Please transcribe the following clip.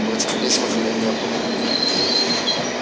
в этих письмах её не было